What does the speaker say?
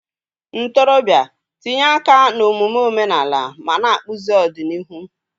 Ntorobịa, tinye aka n'omume omenala ma na-akpụzi ọdịnihu.